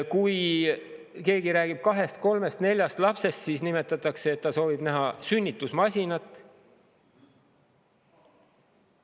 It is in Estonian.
Kui keegi räägib kahest-kolmest-neljast lapsest, siis nimetatakse, et ta soovib näha sünnitusmasinat.